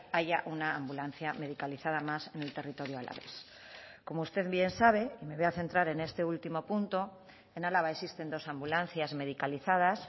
haya una ambulancia medicalizada más en el territorio alavés como usted bien sabe y me voy a centrar en este último punto en álava existen dos ambulancias medicalizadas